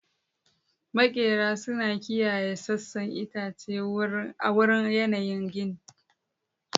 Maƙera suna kiyaye sassan itace a wurin yayin gini.